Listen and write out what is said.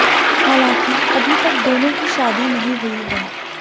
हालांकि अभी तक दोनों की शादी नहीं हुई है